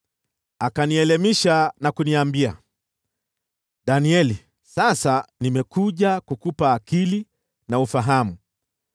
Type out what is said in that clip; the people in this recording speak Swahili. Akanielimisha na kuniambia, “Danieli, sasa nimekuja kukupa akili na ufahamu.